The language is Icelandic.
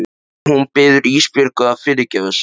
Og hún biður Ísbjörgu að fyrirgefa sér.